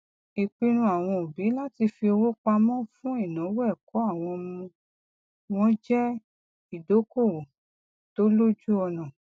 ìpinnu àwọn òbí láti fi owó pamọ fún ináwó ẹkọ àwọn ọmọ wọn jẹ ìdókòwò tó lójúọnà